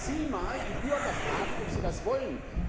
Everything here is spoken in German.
Aber da müssen Sie mal die Bürger fragen, ob sie das wollen.